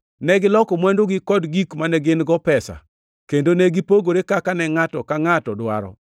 Negiloko mwandugi kod gik mane gin-go pesa kendo ne gipogore kaka ne ngʼato ka ngʼato dwaro.